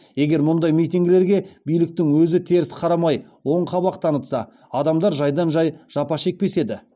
егер мұндай митингілерге биліктің өзі теріс қарамай оң қабақ танытса адамдар жайдан жай жапа шекпес еді